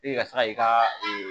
E ka taa i ka